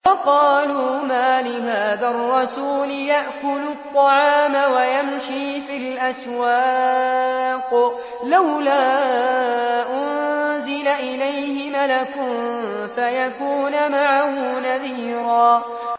وَقَالُوا مَالِ هَٰذَا الرَّسُولِ يَأْكُلُ الطَّعَامَ وَيَمْشِي فِي الْأَسْوَاقِ ۙ لَوْلَا أُنزِلَ إِلَيْهِ مَلَكٌ فَيَكُونَ مَعَهُ نَذِيرًا